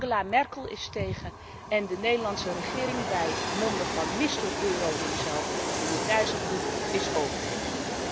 Angela Merkel is tegen en de Nederlandse regering bij monde van mister euro himself meneer Dijsselbloem, is ook tegen.